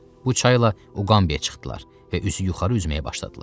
Bu çayla Uqambiyə çıxdılar və üzü yuxarı üzməyə başladılar.